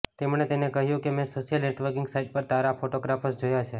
તેમણે મને કહ્યું કે મેં સોશિયલ નેટવર્કિંગ સાઈટ પર તારા ફોટોગ્રાફ્સ જોયા છે